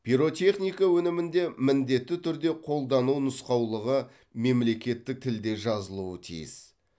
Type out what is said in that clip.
пиротехника өнімінде міндетті түрде қолдану нұсқаулығы мемлекеттік тілде жазылуы тиіс